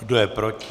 Kdo je proti?